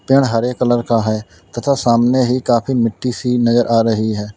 पेड़ हरे कलर का है तथा सामने ही काफी मिट्टी से नजर आ रही है।